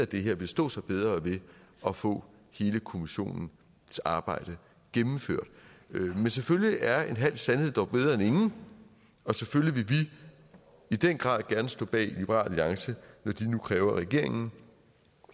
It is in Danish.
det her vil stå sig bedre ved at få hele kommissionens arbejde gennemført men selvfølgelig er en halv sandhed dog bedre end ingen og selvfølgelig vil vi i den grad gerne stå bag liberal alliance når de nu kræver at regeringen